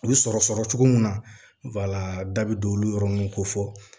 U bɛ sɔrɔ sɔrɔ cogo min na da bɛ don olu yɔrɔ ninnu ko fɔ